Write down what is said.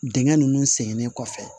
Dingɛ nunnu sɛgɛnnen kɔfɛ